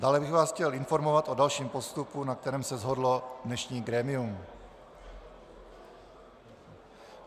Dále bych vás chtěl informovat o dalším postupu, na kterém se shodlo dnešní grémium.